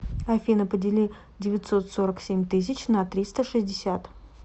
афина подели девятьсот сорок семь тысяч на триста шестьдесят